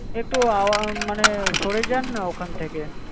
একটু আও মানে সরে যান না ওখান থেকে